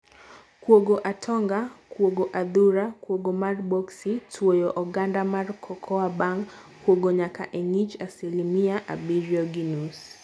Kuogo atonga, kuogo adhura , kuogo mar boxi, twuoyo oganda mar cocoa bang kuogo nyaka e ngich asilimia abiryo gi nus.